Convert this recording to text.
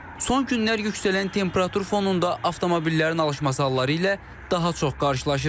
Son günlər yüksələn temperatur fonunda avtomobillərin alışması halları ilə daha çox qarşılaşırıq.